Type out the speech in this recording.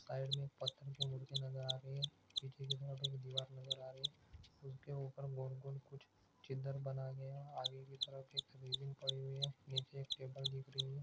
Side मे एक पत्थर की मूर्ति नजर आ रही है पीछे की ओर एक दीवार नजर आ रही है उसके उपर गोल-गोल कुछ छिद्र बना गया है आगे की तरफ एक सिवलीन पड़ी है नीचे एक टेबल पड़ी है।